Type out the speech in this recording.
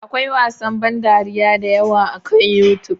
Akwai wasan ban dariya da yawa akan YouTube.